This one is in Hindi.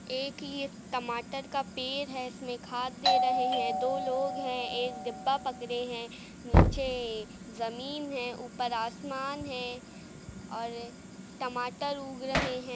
एक यह टमाटर का पेड़ है। इसमें खाद दे रहे हैं। दो लोग है एक डिब्बा पकड़े है। नीचे एक जमीन है। ऊपर आसमान है और टमाटर उग रहे हैं।